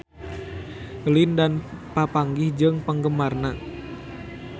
Lin Dan papanggih jeung penggemarna